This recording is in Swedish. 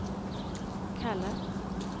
kallat